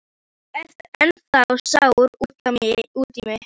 Þú ert ennþá sár út í mig.